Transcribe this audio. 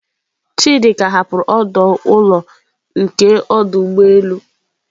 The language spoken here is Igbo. Chidi ka hapụrụ ọdụ ụlọ nke ọdụ ụgbọ elu.